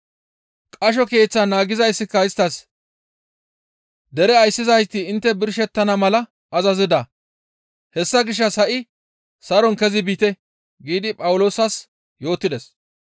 Qasho keeththaa naagizayssika isttas, «Dere ayssizayti intte birshettana mala azazida; hessa gishshas ha7i saron kezi biite» giidi Phawuloosas yootides.